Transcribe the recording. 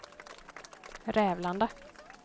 Rävlanda